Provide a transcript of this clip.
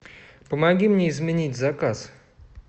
помоги мне изменить заказ